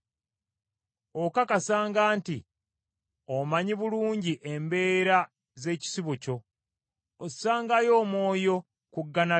Okakasanga nti omanyi bulungi embeera z’ekisibo kyo, ossangayo omwoyo ku ggana lyo.